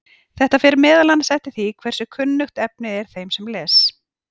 þetta fer meðal annars eftir því hversu kunnuglegt efnið er þeim sem les